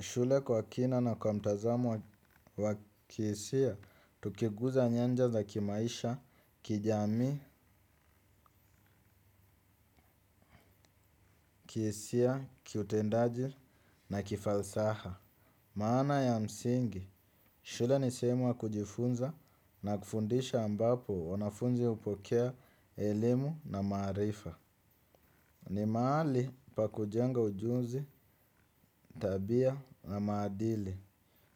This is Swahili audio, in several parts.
Shule kwa kina na kwa mtazamo wa kihisia, tukiguza nyanja za kimaisha, kijamii, kihisia, kiutendaji na kifalsafa. Maana ya msingi, shule ni sehemu ya kujifunza na kufundisha ambapo wanafunzi hupokea elimu na maarifa. Ni mahali pa kujenga ujuzi, tabia na maadili.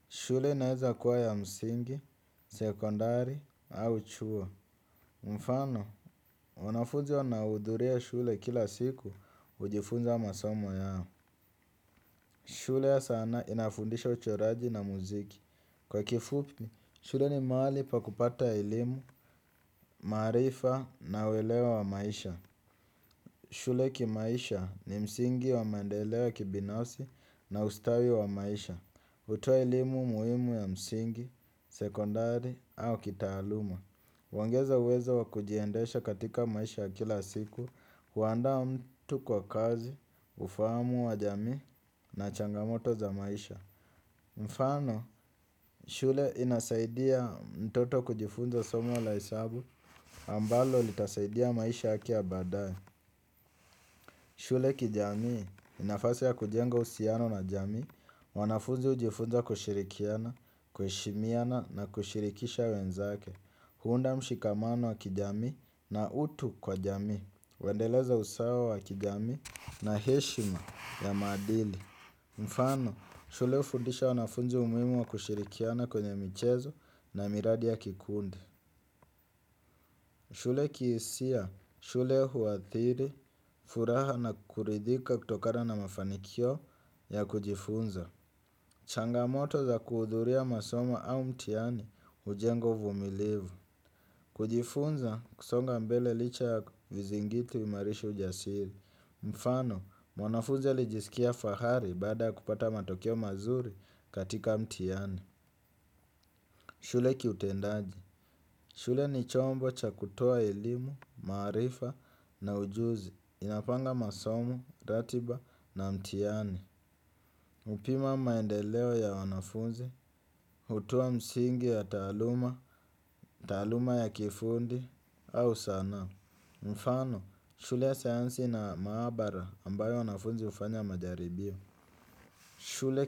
Shule inaweza kuwa ya msingi, sekondari, au chuo. Mfano, wanafunzi wanaohudhuria shule kila siku hujifunza masomo yao. Shule ya sanaa inafundisha uchoraji na muziki. Kwa kifupi, shule ni mahali pa kupata elimu, maarifa na uelewa wa maisha. Shule kimaisha ni msingi wa maendeleo ya kibinafsi na ustawi wa maisha. Hutoa elimu muhimu ya msingi, sekondari au kitaaluma. Huongeza uwezo wa kujiendesha katika maisha ya kila siku, huandaa mtu kwa kazi, ufahamu wa jamii na changamoto za maisha. Mfano, shule inasaidia mtoto kujifunza somo la hesabu ambalo litasaidia maisha yake ya baadaye. Shule kijamii ni nafasi ya kujenga uhusiano na jamii, wanafunzi hujifunza kushirikiana, kuheshimiana na kushirikisha wenzake. Huunda mshikamano wa kijamii na utu kwa jamii. Huendeleza usawa wa kijamii na heshima ya maadili. Mfano, shule hufundisha wanafunzi umuhimu wa kushirikiana kwenye michezo na miradi ya kikundi. Shule kihisia, shule huathiri, furaha na kuridhika kutokana na mafanikio ya kujifunza. Kuhudhuria masomo au mtihani, hujenga uvumilivu. Kujifunza, kusonga mbele licha ya vizingiti huimarisha ujasiri. Mfano, mwanafunzi alijisikia fahari baada ya kupata matokeo mazuri katika mtihani. Shule kiutendaji. Shule ni chombo cha kutoa elimu, maarifa na ujuzi. Inapanga masomo, ratiba na mtihani. Hupima maendeleo ya wanafunzi. Hutoa msingi ya taaluma, taaluma ya kiufundi, au sanaa. Mfano, shule ya sayansi ina maabara ambayo wanafunzi hufanya majaribio. Shule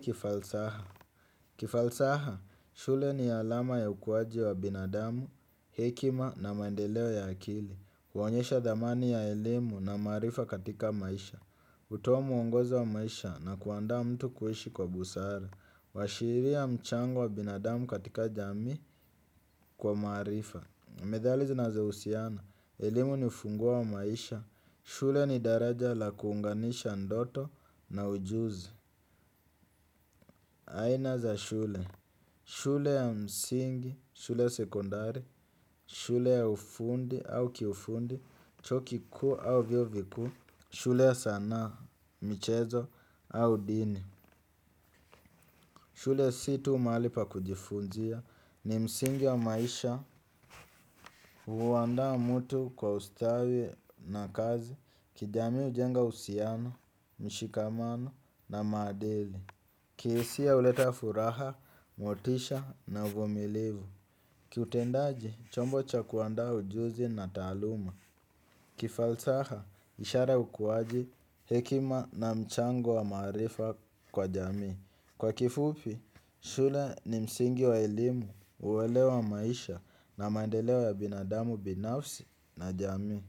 kifalsaha, shule ni alama ya ukuaji wa binadamu, hekima na maendeleo ya akili. Huonyesha dhamani ya elimu na maarifa katika maisha. Hutoa mwongozo wa maisha na kuandaa mtu kuishi kwa busara huashiria mchango wa binadamu katika jamii kwa maarifa. Methali zinazohusiana elimu ni ufunguo wa maisha. Shule ni daraja la kuunganisha ndoto na ujuzi. Aina za shule shule ya msingi shule ya sekondari shule ya ufundi au kiufundi chuo kikuu au vyuo vikuu shule ya sanaa, michezo au dini shule si tu mahali pa kujifunzia. Ni msingi wa maisha. Huandaa mtu kwa ustawi na kazi. Kijamii hujenga uhusiano, mshikamano na maadili. Kihisia huleta furaha, motisha na uvumilivu. Kiutendaji, chombo cha kuandaa ujuzi na taaluma. Kifalsaha, ishara ya ukuaji hekima na mchango wa maarifa kwa jamii. Kwa kifupi, shule ni msingi wa elimu huelewa maisha na maendeleo ya binadamu binafsi na jamii.